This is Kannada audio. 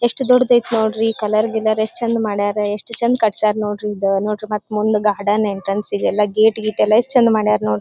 ಎಷ್ಟು ದೊಡ್ಡದು ಐತೆ ನೋಡ್ರಿ ಕಲರ್ ಗಿಲಾರ್ ಯೆಸ್ಟ್ ಚಂದ್ ಮಾಡರ ಎಷ್ಟು ಚಂದ್ ಕಟ್ಸ್ಯಾರ ನೋಡ್ರಿ ಇದು ನೋಡ್ರಿ ಮತ್ತೆ ಮುಂದೆ ಗಾರ್ಡನ್ ಎಂಟ್ರನ್ಸ್ ಗೆಲ್ಲ ಗೇಟ್ ಗೀಟ್ ಎಷ್ಟು ಚಂದ್ ಮಾಡಾರ ನೋಡ್ರಿ.